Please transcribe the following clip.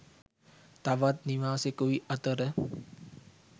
තවත් නිවාසෙකුයි අතර